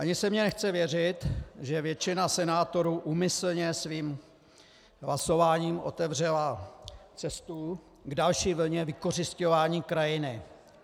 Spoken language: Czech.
Ani se mi nechce věřit, že většina senátorů úmyslně svým hlasováním otevřela cestu k další vlně vykořisťování krajiny.